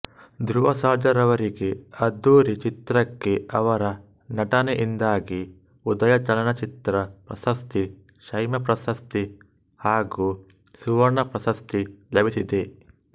ಧ್ರುವ ಸರ್ಜಾರವರಿಗೆ ಅದ್ದೂರಿ ಚಿತ್ರಕ್ಕೆ ಅವರ ನಟನೆಯಿಂದಾಗಿ ಉದಯ ಚಲನಚಿತ್ರ ಪ್ರಶಸ್ತಿ ಸೈಮಾ ಪ್ರಶಸ್ತಿ ಹಾಗೂ ಸುವರ್ಣ ಪ್ರಶಸ್ತಿ ಲಭಿಸಿದೆ